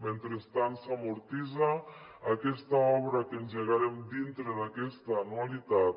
mentre s’amortitza aquesta obra que engegarem dintre d’aquesta anua·litat